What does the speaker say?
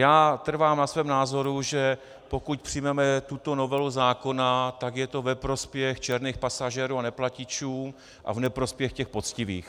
Já trvám na svém názoru, že pokud přijmeme tuto novelu zákona, tak je to ve prospěch černých pasažérů a neplatičů a v neprospěch těch poctivých.